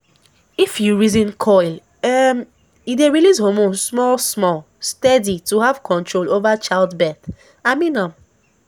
if you reason coil um e dey release hormones small small steady to have control over child birth - i mean am